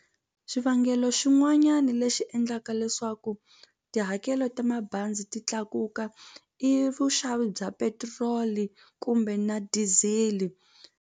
Xivangelo xin'wanyana lexi endlaka leswaku tihakelo ta mabazi ti tlakuka i vuxavi bya petrol-i kumbe na diesel-i.